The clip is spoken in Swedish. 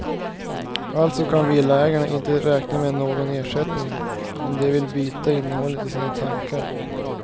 Alltså kan villaägarna inte räkna med någon ersättning om de vill byta innehållet i sina tankar.